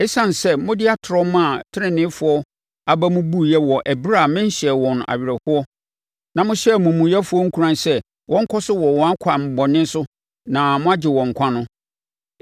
Esiane sɛ mode atorɔ maa teneneefoɔ aba mu buiɛ wɔ ɛberɛ a menhyɛɛ wɔn awerɛhoɔ, na mohyɛɛ amumuyɛfoɔ nkuran sɛ wɔnkɔ so wɔ wɔn akwan bɔne so na moagye wɔn nkwa no